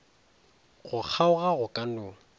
go kgaoga go ka no